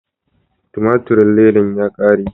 Tumaturin ledan ya kare.